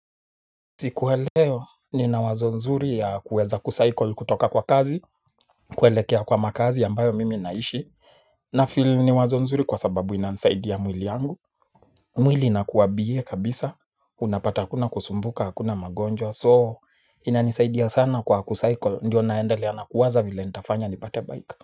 Siku wa leo ni na wazo nzuri ya kuweza kucycle kutoka kwa kazi kuelekea kwa makaazi ambayo mimi naishi nafeel ni wazo nzuri kwa sababu inanisaidia mwili wangu. Mwili inakuwa bie kabisa unapata hakuna kusumbuka hakuna magonjwa So ina nisaidia sana kwa kucycle ndio naendelea nakuwaza vila nitafanya nipate bike.